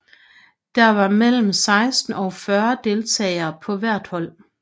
Der var mellem 16 og 40 deltagere på hvert hold